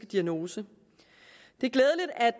diagnose